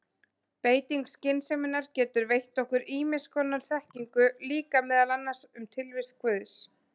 Beiting skynseminnar getur veitt okkur ýmiss konar þekkingu líka, meðal annars um tilvist guðs.